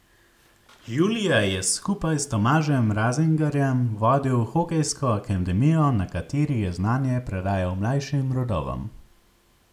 Julija je skupaj s Tomažem Razingarjem vodil hokejsko akademijo, na kateri je znanje predajal mlajšim rodovom.